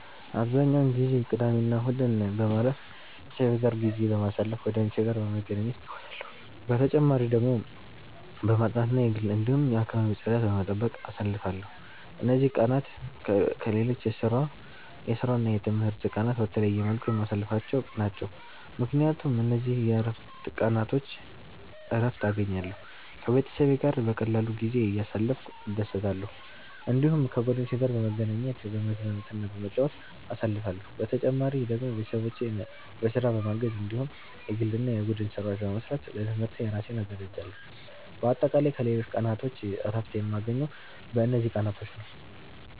አብዛኛውን ጊዜ ቅዳሜና እሁድን በማረፍ፣ ቤተሰቤ ጋር ጊዜ በማሳለፋ ጓደኞቼ ጋር በመገናኘት እጫወታለሁ። በተጨማሪ ደግሞ በማጥናት እና የግል እንዲሁም የአከባቢ ጽዳት በመጠበቅ አሳልፍለሁ። እነዚህ ቀናት ከሌሎች የስራና የትምህርት ቀናት በተለየ መልኩ የማሳልፍቸው ናቸው፣ ምክንያቱም በእነዚህ የእረፍት ቀናቾች እረትን እገኛለሁ። ከቤተሰቤ ጋር በቀላሉ ጊዜ እያሳለፍኩ እደሰታለሁ። እዲሁም ከጓደኞቼ ጋር በመገናኘት፤ በመዝናናትና በመጫወት አሳልፍለሁ። በተጨማሪ ደግሞ ቤተሰቦቼን በስራ በማገዝ እንዲሁም የግል እና የቡድን ስራዎች በመስራት ለትምህርቴ እራሴን አዘጋጃለሁ። በአጠቃላይ ከሌሎች ቀናቶች እረፍት የማገኘው በእነዚህ ቀናቶች ነዉ።